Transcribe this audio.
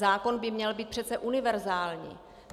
Zákon by měl být přece univerzální.